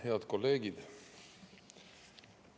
Head kolleegid!